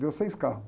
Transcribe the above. Deu seis carros.